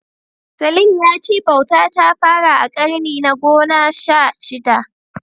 Salim ya ce bauta ta fara a ƙarni na gona sha shida.